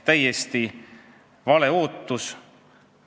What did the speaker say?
Täiesti vale ootus.